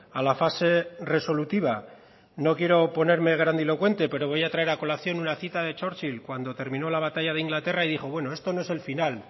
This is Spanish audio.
a la fase resolutiva no quiero ponerme grandilocuente pero voy a traer a colación una cita de churchill cuando termino la batalla de inglaterra y dijo bueno esto no es el final